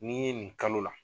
N'i ye nin kalo la